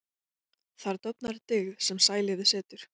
Þar dofnar dyggð sem sælífið situr.